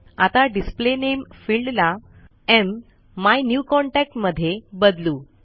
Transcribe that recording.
आता display name field ला my new contact मध्ये बदलू